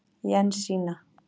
Jensína